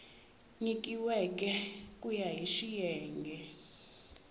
nyikiweke ku ya hi xiyenge